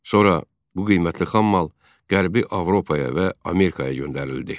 Sonra bu qiymətli xammal Qərbi Avropaya və Amerikaya göndərildi.